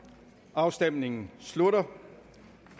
afstemningen slutter